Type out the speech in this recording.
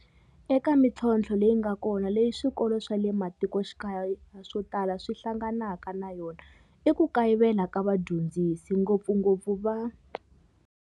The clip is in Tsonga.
Eka mitlhontlho leyi nga kona leyi swikolo swa le ma tikoxikaya swo tala swi hlanganaka na yona i ku ka yivela ka vadyondzisi ngopfungopfu va.